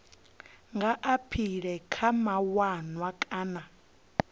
nga aphila kha mawanwa kana